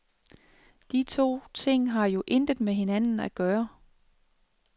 De to ting har jo intet med hinanden at gøre.